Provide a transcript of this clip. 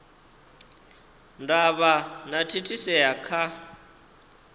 ndavha na u thithisea kha